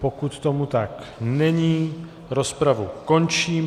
Pokud tomu tak není, rozpravu končím.